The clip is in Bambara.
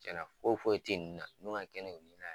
Cɛnna foyi foyi tɛ nunnu n'u ma kɛ ne ɲɔgɔn na ye.